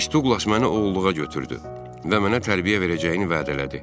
Miss Duqlas məni oğulluğa götürdü və mənə tərbiyə verəcəyini vəd elədi.